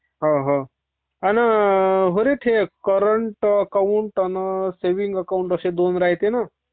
हा हा ....आणि का रे ते करॉन्ट आकाऊंट आणि सेव्हींग अकाऊंट असे दोन राहायते बघ